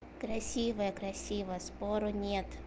красивая красивая спору нет